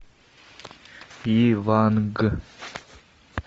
иванг